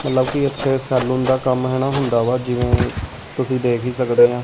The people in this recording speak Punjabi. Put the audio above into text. ਮਤਲਬ ਕਿ ਇੱਥੇ ਸੈਲੂਨ ਦਾ ਕੰਮ ਹੈਣਾ ਹੁੰਦਾ ਵਾ ਜਿਵੇਂ ਤੁਸੀਂ ਦੇਖ ਹੀ ਸਕਦੇ ਐਂ।